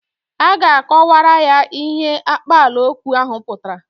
A ga-akọwara ya ihe akpaalaokwu ahụ pụtara.